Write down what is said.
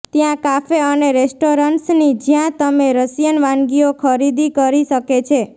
ત્યાં કાફે અને રેસ્ટોરન્ટ્સની જ્યાં તમે રશિયન વાનગીઓ ખરીદી કરી શકે છે